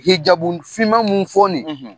Hijabun finma mun fɔɔni;